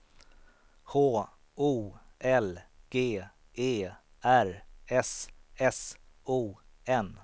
H O L G E R S S O N